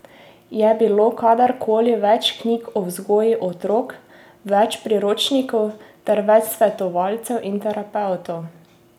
Je bilo kadar koli več knjig o vzgoji otrok, več priročnikov ter več svetovalcev in terapevtov?